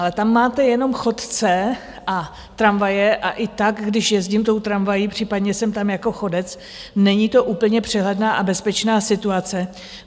Ale tam máte jenom chodce a tramvaje, a i tak, když jezdím tou tramvají, případně jsem tam jako chodec, není to úplně přehledná a bezpečná situace.